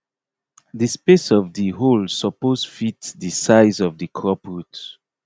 di space of di hole suppose fit di size of di crop root